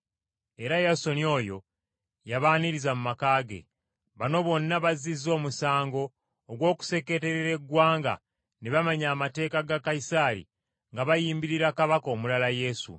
era Yasooni oyo y’abaaniriza mu maka ge. Bano bonna bazizza omusango ogw’okuseeketerera eggwanga ne bamenya amateeka ga Kayisaali nga bayimbirira kabaka omulala Yesu.”